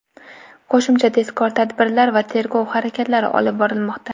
Qo‘shimcha tezkor tadbirlar va tergov harakatlari olib borilmoqda.